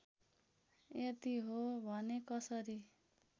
यदि हो भने कसरी